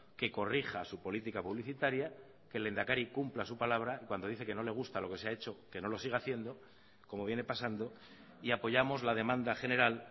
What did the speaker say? que corrija su política publicitaria que el lehendakari cumpla su palabra y cuando dice que no le gusta lo que se ha hecho que no lo siga haciendo como viene pasando y apoyamos la demanda general